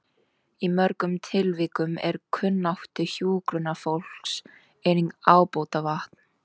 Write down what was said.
Í mörgum tilvikum er kunnáttu hjúkrunarfólks einnig ábótavant.